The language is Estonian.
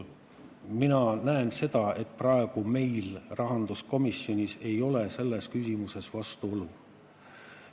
Mina näen seda, et praegu meil rahanduskomisjonis ei ole selles küsimuses vastuolu.